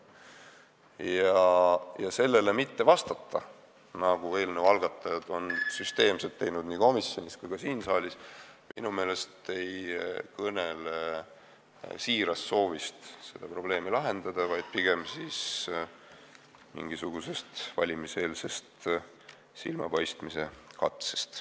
Ja nendele küsimustele mittevastamine, mida eelnõu algatajad on süsteemselt teinud nii komisjonis kui ka siin saalis, ei kõnele minu meelest siirast soovist seda probleemi lahendada, vaid pigem mingisugusest valimiseelsest silmapaistmise katsest.